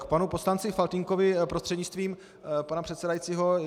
K panu poslanci Faltýnkovi prostřednictvím pana předsedajícího.